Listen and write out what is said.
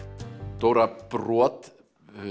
Dóra brot